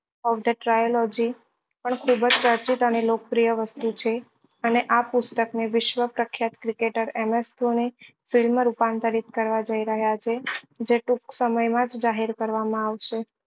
પણ ખુબ જ પ્રસિદ્ધ અને લોકપ્રિય વસ્તુ છે અને આ પુસ્તક ને વિશ્વ પ્રખ્યાત cricketer M S Dhoni film રૂપાંતરિત કરવા જઈ રહ્યા છે જે ટૂંક જ સમય માં જાહેર કરવા માં આવશે